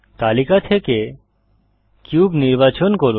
তালিকা থেকে কিউব নির্বাচন করুন